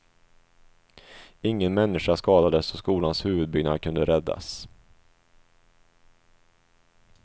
Ingen människa skadades och skolans huvudbyggnad kunde räddas.